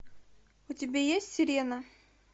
у тебя есть сирена